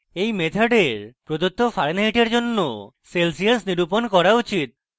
এই মেথডের প্রদত্ত fahrenheit জন্য celsius নিরূপণ করা উচিত